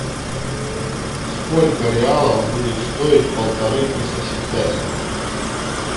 сколько реалов будет стоить полторы тысячи песо